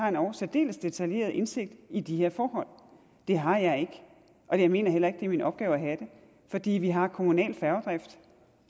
endog særdeles detaljeret indsigt i de her forhold det har jeg ikke og jeg mener heller ikke det er min opgave at have det fordi vi har kommunal færgedrift